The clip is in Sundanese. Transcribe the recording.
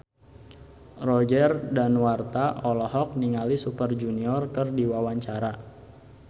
Roger Danuarta olohok ningali Super Junior keur diwawancara